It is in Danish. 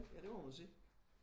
Ja det må man sige